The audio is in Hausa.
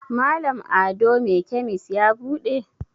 Malam ado me kemis ya bude?